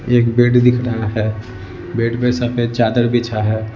एक बेड दिख रहा है बेड पे सफेद चादर बिछा है।